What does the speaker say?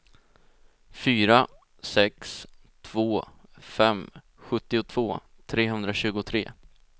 fyra sex två fem sjuttiotvå trehundratjugotre